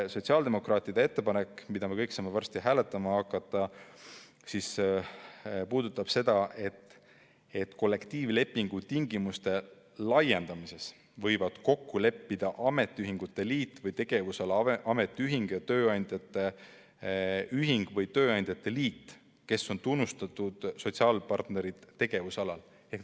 Sotsiaaldemokraatide ettepanek, mida me kõik saame varsti hääletama hakata, puudutab seda, et kollektiivlepingu tingimuste laiendamises võivad kokku leppida ametiühingute liit või tegevusala ametiühing ja tööandjate ühing või tööandjate liit, kes on tunnustatud sotsiaalpartnerid tegevusalal.